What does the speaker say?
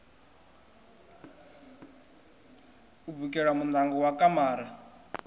u bikela muṋango wa kamara